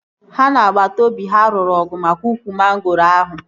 Ha na agbata obi ha lụrụ ọgụ maka ukwu mangoro ahụ